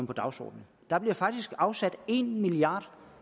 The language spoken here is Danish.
på dagsordenen der bliver faktisk afsat en milliard